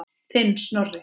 Þinn, Snorri.